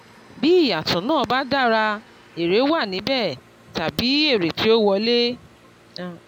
bí ìyàtọ̀ náà ba dára èrè wà níbẹ̀ tàbí èrè ti ó wọlé